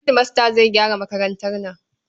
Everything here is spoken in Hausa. Hedimasta zai gyara makarantar nan.